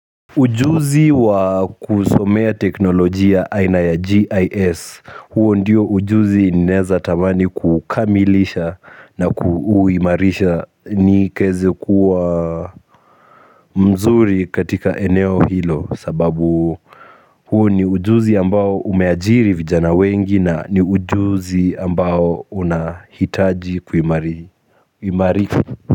Ujuzi wa kusomea teknolojia aina ya GIS huo ndiyo ujuzi ninaeza tamani kukamilisha na kuuimarisha ni kaeze kuwa mzuri katika eneo hilo sababu huo ni ujuzi ambao umeajiri vijana wengi na ni ujuzi ambao unahitaji kuimarika.